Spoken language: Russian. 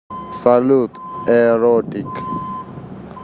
салют э ротик